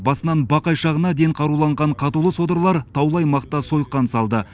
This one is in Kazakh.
басынан бақай шағына дейін қаруланған қатулы содырлар таулы аймақта сойқан салды